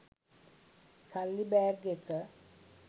සල්ලි බෑග් එක.